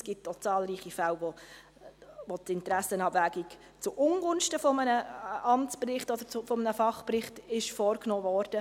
Auch gab es zahlreiche Fälle, in welchen die Interessenabwägung zuungunsten eines Amtsberichts oder eines Fachberichts vorgenommen wurde.